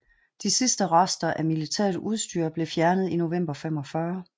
De sidste rester af militært udstyr blev fjernet i november 1945